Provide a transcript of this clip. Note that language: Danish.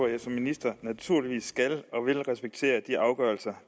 jeg som minister naturligvis skal og vil respektere de afgørelser